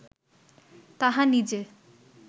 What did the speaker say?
তাহা নিজে